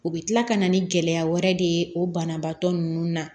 U bɛ kila ka na ni gɛlɛya wɛrɛ de ye o banabaatɔ ninnu na